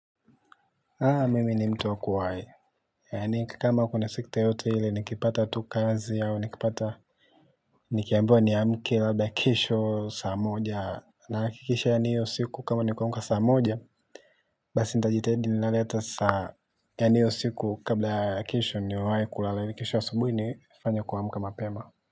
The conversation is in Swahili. Haa mimi ni mtu wa kuwahi, yaani kama kuna sekta yoyote iile nikipata tu kazi au nikipata nikiambiwa niamke labda kesho saa moja hakikisha yani hiyo siku kama ni kuamka saa moja. Basi nita jitahidi nilale ata saa yani hiyo siku kabla ya kesho niwahi kulala yani kesho asubuhi nifanye kuamka mapema.